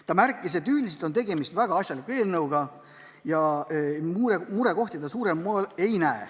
Ta märkis, et üldiselt on tegemist väga asjaliku eelnõuga ja murekohti ta ei näe.